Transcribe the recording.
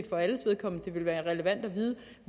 for alles vedkommende ville være relevant at vide